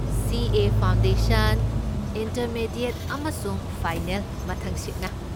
ꯁꯤ. A. Foundation, intermediate ꯑꯃꯁꯨꯡ final ꯃꯊꯪꯁꯤꯠꯅ꯫